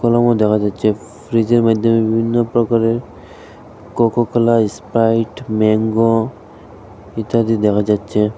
ফলমও দেখা যাচ্ছে ফ্রিজে র মইদ্যে বিভিন্ন প্রকারের কোকোকোলা ইস্প্রাইট ম্যাঙ্গো ইত্যাদি দেখা যাচ্চে।